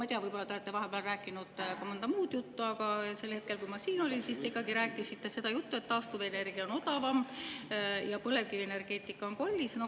Ma ei tea, võib-olla te olete vahepeal rääkinud ka muud juttu, aga sel hetkel, kui ma siin olin, te rääkisite seda juttu, et taastuvenergia on odavam ja põlevkivienergeetika on kallis.